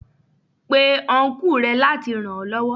Pe Ọnkú rẹ láti ràn ó lọ́wọ́.